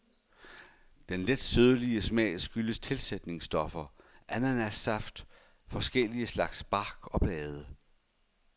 Den let sødlige smag skyldes tilsætningsstoffer, ananassaft, forskellige slags bark og blade.